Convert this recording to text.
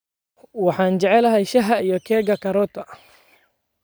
Waxaan jeclahay shaaha iyo keega karooto.